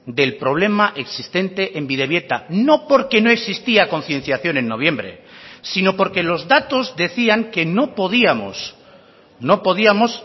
del problema existente en bidebieta no porque no existía concienciación en noviembre sino porque los datos decían que no podíamos no podíamos